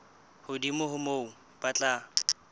hodimo ho moo ba tla